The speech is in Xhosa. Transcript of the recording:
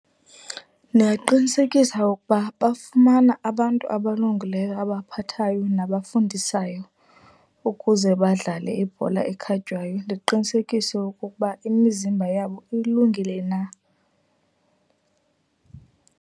Ndingaqinisekisa ukuba bafumana abantu abalungileyo abaphathayo nabafundisayo ukuze badlale ibhola ekhatywayo. Ndiqinisekise okokuba imizimba yabo ilungile na.